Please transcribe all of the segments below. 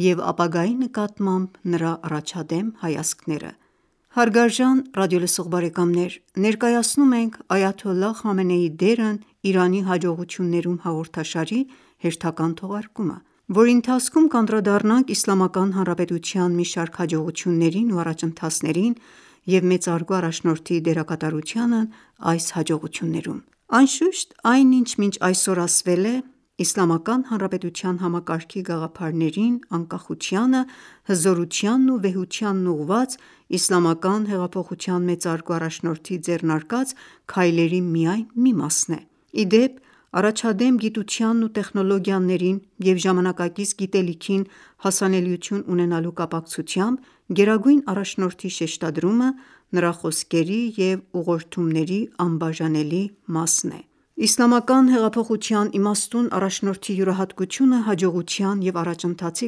և ապագայի նկատմամբ նրա առաջադեմ հայացքները: Հարգարժան ռադիոլսող բարեկամներ, ներկայացնում ենք «Այաթոլլահ Խամենեիի դերն Իրանի հաջողություններում» հաղորդաշարի հերթական թողարկումը, որի ընթացքում կանդրադառնանք Իսլամական Հանրապետության մի շարք հաջողություններին ու առաջընթացներին և մեծարգո առաջնորդի դերակատարությանն այս հաջողություններում: Անշուշտ, այն ինչ մինչ այսօր ասվել է, Իսլամական Հանրապետության համակարգի գաղափարներին, անկախությանը, հզորությանն ու վեհությանն ուղղված Իսլամական հեղափոխության մեծարգո առաջնորդի ձեռնարկած քայլերի միայն մի մասն է: Ի դեպ, առաջադեմ գիտությանն ու տեխնոլոգիաներին և ժամանակից գիտելիքին հասանելիություն ունենալու կապակցությամբ գերագույն առաջնորդի շեշտադրումը նրա խոսքերի և ուղղորդումների անբաժանելի մասն է: Իսլամական հեղափոխության իմաստուն առաջնորդի յուրահատկությունը հաջողության և առաջընթացի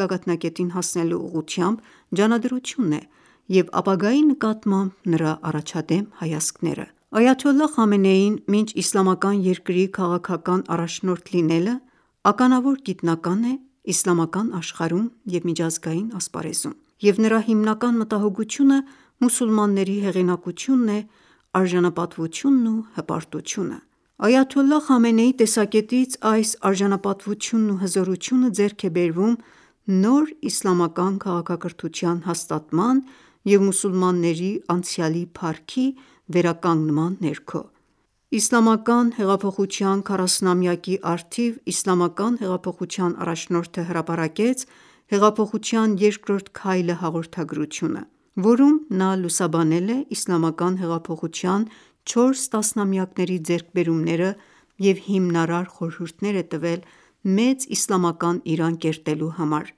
գագաթնակետին հասնելու ուղղությամբ ջանադրությունն է, և ապագայի նկատմամբ նրա առաջադեմ հայացքները: Այաթոլլահ Խամենեին, մինչ իսլամական երկրի քաղաքական առաջնորդը լինելը, ականավոր գիտնական է իսլամական աշխարհում և միջազգային ասպարեզում, և նրա հիմնական մտահոգությունը մուսուլմանների հեղինակությունն է, արժանապատվությունն ու հպարտությունը: Այաթոլլահ Խամենեիի տեսակետից այս արժանապատվությունն ու հզորությունը ձեռք է բերվում «նոր իսլամական քաղաքակրթության» հաստատման և մուսուլմանների անցյալի փառքի վերականգնման ներքո։ Իսլամական հեղափոխության 40-ամյակի առթիվ իսլամական հեղափոխության առաջնորդը հրապարակեց «Հեղափոխության երկրորդ քայլը» հաղորդագրությունը, որում նա լուսաբանել է իսլամական հեղափոխության չորս տասնամյակների ձեռքբերումները և հիմնարար խորհուրդներ է տվել «Մեծ իսլամական Իրան» կերտելու համար։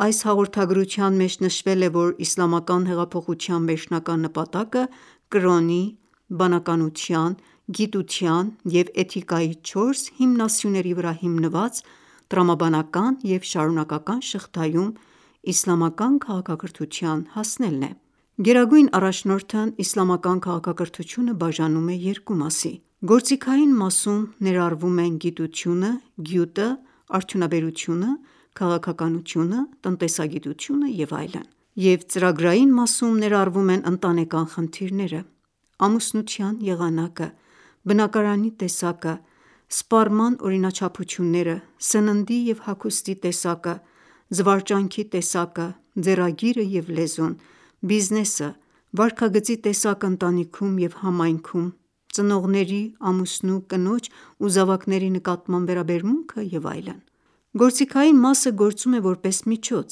Այս հաղորդագրության մեջ նշվել է, որ իսլամական հեղափոխության վերջնական նպատակը կրոնի, բանականության, գիտության և էթիկայի չորս հիմնասյուների վրա հիմնված տրամաբանական և շարունակական շղթայում իսլամական քաղաքակրթության հասնելն է: Գերագույն առաջնորդն իսլամական քաղաքակրթությունը բաժանում է երկու մասի: Գործիքային մասում ներառվում են գիտությունը, գյուտը, արդյունաբերությունը, քաղաքականությունը, տնտեսագիտությունը և այլն: Եվ ծրագրային մասում ներառվում են ընտանեկան խնդիրները, ամուսնության եղանակը, բնակարանի տեսակը, սպառման օրինաչափությունները, սննդի և հագուստի տեսակը, զվարճանքի տեսակը, ձեռագիրը և լեզուն, բիզնեսը, վարքագծի տեսակը ընտանիքում և համայնքում, ծնողների, ամուսնու, կնոջ ու զավակների նկատմամբ վերաբերմունքը և այլն: Գործիքային մասը գործում է որպես միջոց,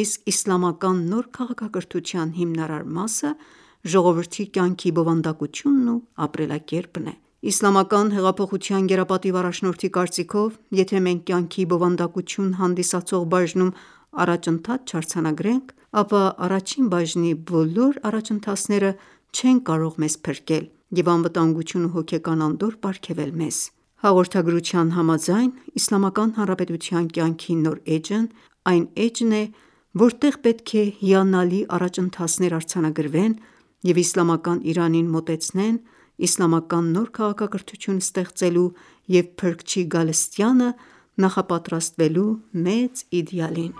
իսկ իսլամական նոր քաղաքակրթության հիմնական մասը ժողովրդի կյանքի բովանդակությունն ու ապրելակերպն է։ Իսլամական հեղափոխության գերապատիվ առաջնորդի կարծիքով, եթե մենք կյանքի բովանդակություն հանդիսացող բաժնում առաջընթաց չարձանագրենք, ապա առաջին բաժնի բոլոր առաջընթացները չեն կարող մեզ փրկել և անվտանգություն ու հոգեկան անդորր պարգևել մեզ: Հաղորդագրության համաձայն՝ Իսլամական Հանրապետության կյանքի նոր էջն այն էջն է, որտեղ պետք է հիանալի առաջընթացներ արձանագրվեն և իսլամական Իրանին մոտեցնել «Իսլամական նոր քաղաքակրթություն» ստեղծելու և Փրկչի գալստյանը նախապատրաստվելու մեծ իդեալին: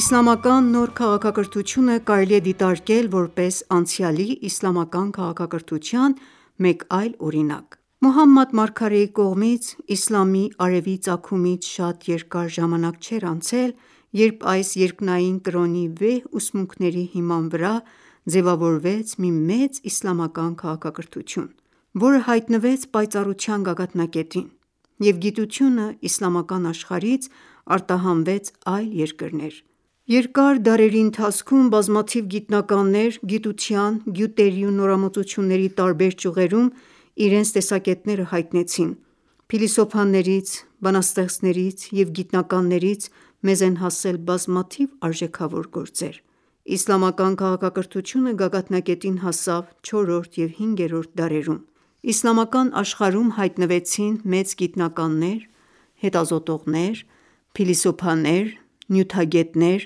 Իսլամական նոր քաղաքակրթությունը կարելի է դիտարկել որպես անցյալի իսլամական քաղաքակրթության մեկ այլ օրինակ։ Մոհամմադ մարգարեի կողմից Իսլամի արևի ծագումից շատ երկար ժամանակ չէր անցել, երբ այս երկնային կրոնի վեհ ուսմունքների հիման վրա ձևավորվեց մի մեծ իսլամական քաղաքակրթություն, որը հայտնվեց պայծառության գագաթնակետին և գիտությունը իսլամական աշխարհից արտահանվեց այլ երկրներ: Երկար դարերի ընթացքում բազմաթիվ գիտնականներ գիտության, գյուտերի ու նորամուծությունների տարբեր ճյուղերում իրենց տեսակետները հայտնեցին: Փիլիսոփաներից, բանաստեղծներից և գիտնականներից մեզ են հասել բազմաթիվ արժեքավոր գործեր: Իսլամական քաղաքակրթությունը գագաթնակետին հասավ չորրորդ և հինգերորդ դարերում: Իսլամական աշխարհում հայտնվեցին մեծ գիտնականներ, հետազոտողներ, փիլիսոփաներ, նյութագետներ,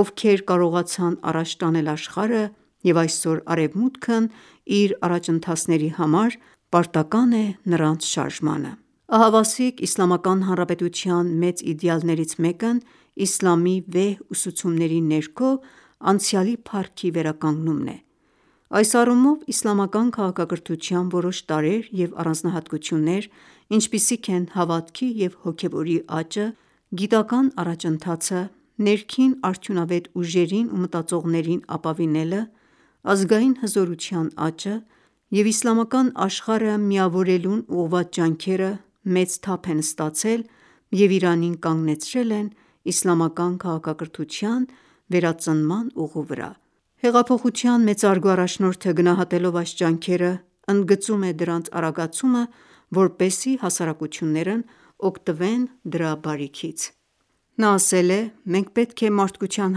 ովքեր կարողացան առաջ տանել աշխարհը, և այսօր Արևմուտքն իր առաջընթացների համար պարտական է նրանց շարժմանը: Ահավասիկ Իսլամական Հանրապետության մեծ իդեալներից մեկն իսլամի վեհ ուսուցումների ներքո անցյալի փառքի վերականգնումն է: Այս առումով, իսլամական քաղաքակրթության որոշ տարրեր և առանձնահատկություններ, ինչպիսիք են հավատքի և հոգևորի աճը, գիտական ​​առաջընթացը, ներքին արդյունավետ ուժերին ու մտածողներին ապավինելը, ազգային հզորության աճը և իսլամական աշխարհը միավորելուն ուղղված ջանքերը, մեծ թափ են ստացել և Իրանին կանգնեցրել են իսլամական քաղաքակրթության վերածնման ուղու վրա: Հեղափոխության մեծարգո առաջնորդը գնահատելով այս ջանքերը, ընդգծում է դրանց արագացումը, որպեսզի Նա ասել է. «Մենք պետք է մարդկության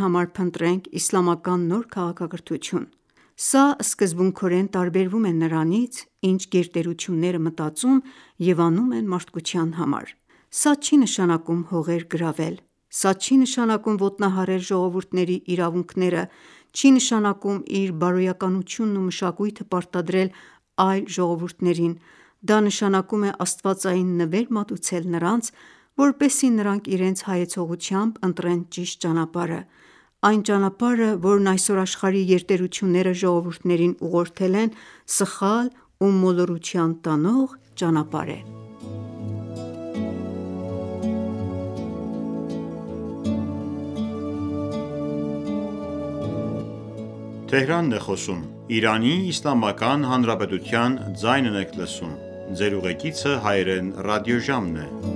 համար փնտրել իսլամական նոր քաղաքակրթություն: Սա սկզբունքորեն տարբերվում է նրանից, ինչ գերտերությունները մտածում և անում են մարդկության համար: Սա չի նշանակում հողեր գրավել: Սա չի նշանակում ոտնահարել ժողվուրդների իրավունքները, չի նշանակում իր բարոյականությունն ու մշակույթը պարտադրել այլ ժողովուրդներին, դա նշանակում է աստվածային նվեր մատուցել նրանց, որպեսզի նրանք իրենց հայեցողությամբ ընտրեն ճիշտ ճանապարհը: Այն ճանապարհը, որն այսօր աշխարհի գերտերությունները ժողովուրդներին ուղղորդել են, սխալ ու մոլորության տանող ճանապարհ է»: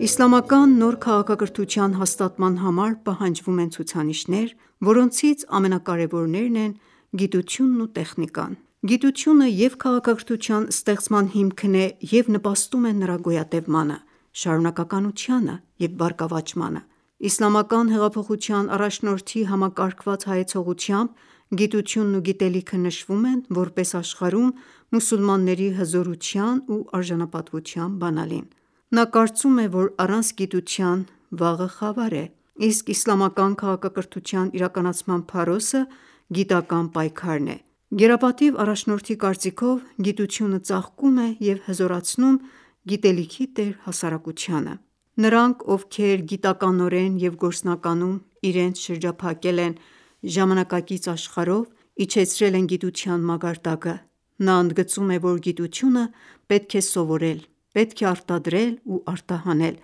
Իսլամական նոր քաղաքակրթության հաստատման համար պահանջվում են ցուցանիշներ, որոնցից ամենակարևորներն են գիտությունն ու տեխնիկան։ Գիտությունը և՛ քաղաքակրթության ստեղծման հիմքն է, և՛ նպաստում է նրա գոյատևմանը, շարունակականությանը և բարգավաճմանը: Իսլամական հեղափոխության առաջնորդի համակարգված հայացողությամբ՝ գիտությունն ու գիտելիքը նշվում են, որպես աշխարհում մուսուլմանների հզորության ու արժանապատվության բանալին: Նա կարծում է, որ առանց գիտության վաղը խավար է, իսկ իսլամական քաղաքակրթության իրականացման փարոսը գիտական ​​պայքարն է։ Գերապատիվ առաջնորդի կարծիքով, գիտությունը ծաղկում է և հզորացնում գիտելիքի տեր հասարակությանը: Նրանք, ովքեր գիտականորեն և գործնականում իրենց շրջափակել են ժամանակակից աշխարհով, իջեցրել են գիտության մակարդակը։ Նա ընդգծում է, որ գիտությունը պետք է սովորել, պետք է արտադրել ու արտահանել,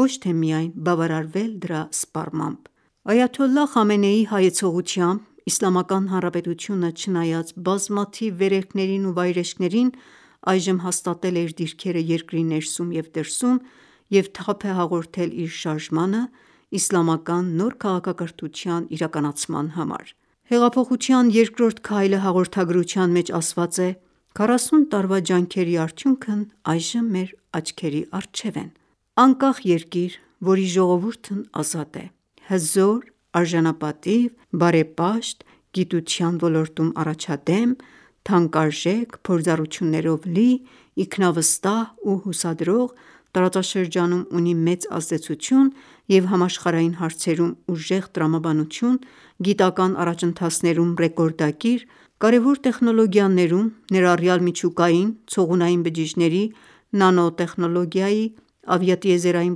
ոչ թե միայն բավարարվել դրա սպառմամբ: Այաթոլլահ Խամենեիի հայեցողությամբ, Իսլամական Հանրապետությունը, չնայած բազմաթիվ վերելքներին ու վայրէջքներին, այժմ հաստատել է իր դիրքերը երկրի ներսում և դրսում և թափ է հաղորդել իր շարժմանը, իսլամական նոր քաղաքակրթության իրականացման համար: «Հեղափոխության երկրորդ քայլը» հաղորդագրության մեջ ասված է. «Քառասուն տարվա ջանքերի արդյունքն այժմ մեր աչքի առջև է: Անկախ երկիր, որի ժողովուրդն ազատ է, հզոր, արժանապատիվ, բարեպաշտ, գիտության ոլորտում առաջադեմ, թանկարժեք փորձառություններիով լի, ինքնավստահ ու հուսադրող, տարածաշրջանում ունի մեծ ազդեցություն և համաշխարհային հարցերում ուժեղ տրամաբանություն, գիտական առաջընթացներում ռեկորդակիր, կարևոր տեխնոլոգիաներում, ներառյալ միջուկային, ցողունային բջիջների, նանոտեխնոլոգիայի, ավիատիեզերային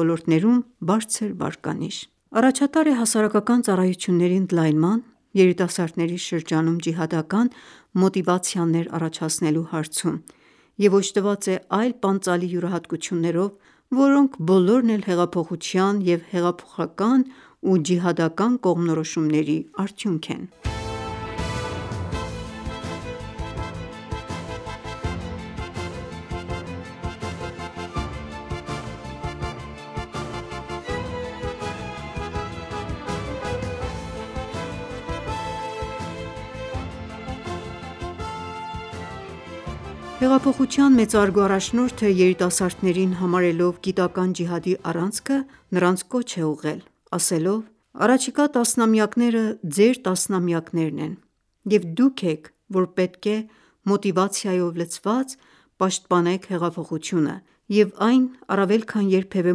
ոլորտներում բարձր վարկանիշ: Առաջատար է հասարակական ծառայությունների ընդլայնման, երիտասարդների շրջանում ջիհադական մոտիվացիաներ առաջացնելու հարցում և օժտած է այլ պանծալի յուրահատկություններով, որոնք բոլորն էլ հեղափոխության, և հեղափոխական ու ջիհադական կողմնորոշումների արդյունք են»: Հեղափոխության մեծարգո առաջնորդը երիտասարդներին համարելով գիտական ջիհադի առանցքը նրանց կոչ է ուղղել, ասելով.«Առաջիկա տասնամյակները, ձեր տասնամյակներն են և դուք եք, որ պետք է մոտիվացիայով լցված պաշտպանեք հեղափոխությունը և այն առավել քան երբևէ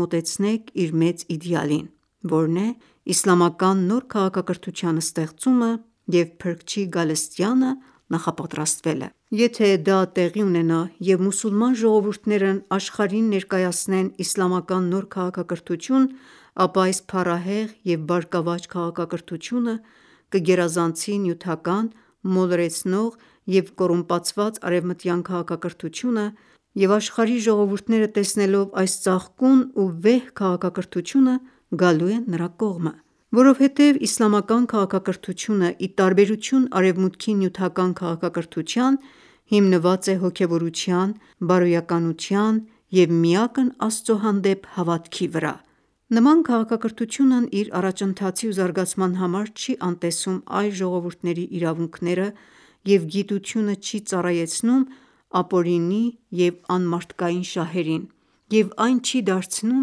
մոտեցնեք իր մեծ իդեալին, որն է՝ իսլամական նոր քաղաքակրթության ստեղծումը և Փրկչի գալստյանը նապատրաստվելը: Եթե ​​դա տեղի ունենա, և մուսուլման ժողովուրդներն աշխարհին ներկայացնեն իսլամական նոր քաղաքակրթություն, ապա այս փառահեղ և բարգավաճ քաղաքակրթությունը կգերազանցի նյութական, մոլորեցնող և կոռումպացված արևմտյան քաղաքակրթությունը, և աշխարհի ժողովուրդները տեսնելով այս ծաղկուն ու վեհ քաղաքակրթությունը գալու են նրա կողմը: Որովհետև իսլամական քաղաքակրթությունը, ի տարբերություն Արևմուտքի նյութական քաղաքակրթության, հիմնված է հոգևորության, բարոյականության և միակն Աստծո հանդեպ հավատքի վրա։ Նման քաղաքակրթությունն իր առաջընթացի ու զարգացման համար չի անտեսում այլ ժողովուրդնեի իրավունքները և գիտությունը չի ծառայցենում ապօրինի ու անմարդկային շահերին և այն չի դարձնում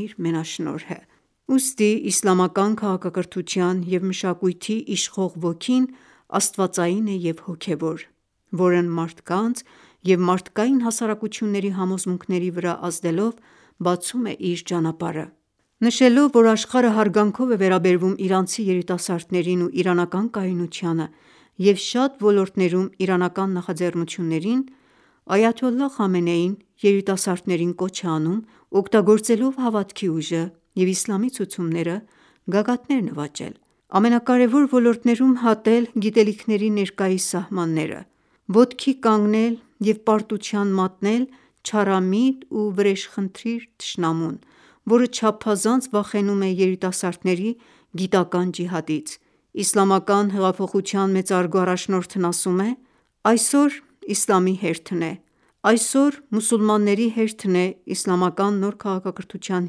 իր մենաշնորհը։ Ուստի իսլամական քաղաքակրթության և մշակույթի իշխող ոգին աստվածային է և հոգևոր, որն մարդկանց և մարդկային հասարակությունների համոզմունքների վրա ազդելով, բացում է իր ճանապարհը: Նշելով, որ աշխարհը հարգանքով է վերաբերվում իրանցի երիտասարդներին ու իրանական կայունությանը և շատ ոլորտներում իրանական նախաձեռնություններին, Այաթոլլահ Խամենեին երիտասարդներին կոչ է անում օգտագործելով հավատքի ուժը և իսլամի ցուցումները գագաթներ նվաճել: Ամենակարևոր ոլորտներում հատել գիտելիքների ներկայիս սահմանները: Ոտքի կանգնել և պարտության մատնել չարամիտ ու վրեժխնդիր թշնամուն, որը չափազանց վախենում է երիտասարդների գիտական ​​ջիհադից։ Իսլամական հեղափոխության մեծարգո առաջնորդն ասում է.«Այսօր իսլամի հերթն է: Այսօր մուսուլմանների հերթն է իսլամական նոր քաղաքակրթության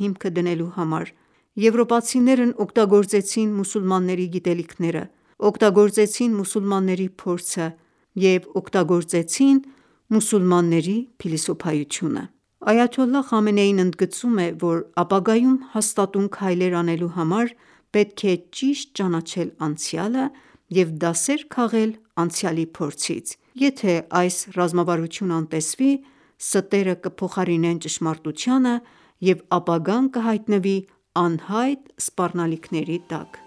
հիմքը դնելու համար: Եվրոպացիներն օգտագործեցին մուսուլմանների գիտելիքները, օգտագործեցին մուսուլմանների փորձը և օգտագործեցին մուսուլմանների փիլիսոփայությունը»: Այաթոլլահ Խամենեին ընդգծում է, որ ապագայում հաստատուն քայլեր անելու համար պետք է ճիշտ ճանաչել անցյալը և դասեր քաղել անցյալի փորձից: Եթե ​​այս ռազմավարությունը անտեսվի, ստերը կփոխարինեն ճշմարտությանը, և ապագան կհայտնվի անհայտ սպառնալիքների տակ: